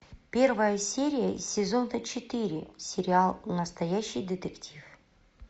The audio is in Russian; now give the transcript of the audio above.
первая серия сезона четыре сериал настоящий детектив